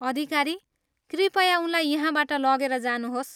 अधिकारी, कृपया उनलाई यहाँबाट लगेर जानुहोस्।